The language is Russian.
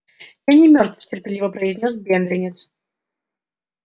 я не мёртв терпеливо произнёс бедренец